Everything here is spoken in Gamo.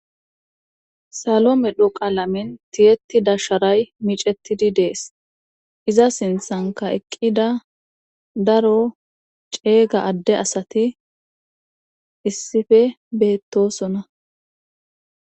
Salo medho qaalamen tiyettida sharay micetidi dees iza sinthanka eqqida daro ceega adde asati issife beettosona.